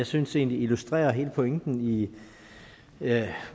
synes illustrerer hele pointen i